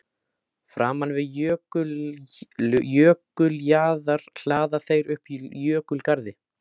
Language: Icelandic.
Framan við jökuljaðar hlaða þeir upp jökulgarði.